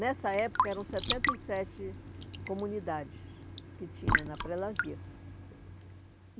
Nessa época eram setenta e sete comunidades que tinha na Prelasia.